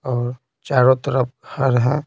और चारों तरफ हर है।